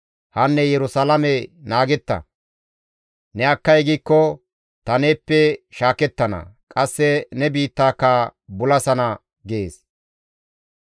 Hanne Yerusalaame naagetta; ne akkay giikko ta neeppe shaakettana; qasse ne biittaaka bulasana» gees.